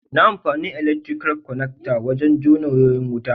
Na amfani elaktirikal kwanakta wajen jona wayoyin wuta.